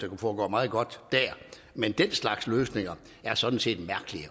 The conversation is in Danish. kunne foregå meget godt der men den slags løsninger er sådan set mærkelige